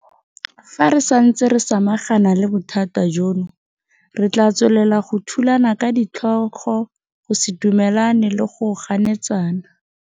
Fa re santse re samagana le bothata jono, re tla tswelela go thulana ka ditlhogo, go se dumelane le go ganetsana.